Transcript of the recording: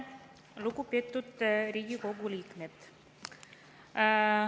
Lugupeetud Riigikogu liikmed!